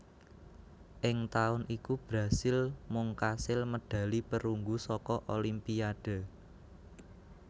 Ing taun iku Brasil mung kasil medhali perunggu saka Olimpiyade